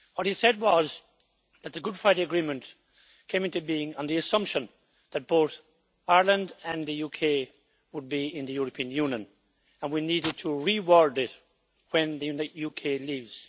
What he said was that the Good Friday Agreement came into being on the assumption that both Ireland and the UK would be in the European Union, and that we needed to reword it when the UK leaves.